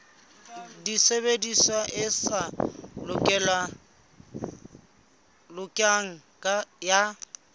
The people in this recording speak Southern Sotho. tshebediso e sa lokang ya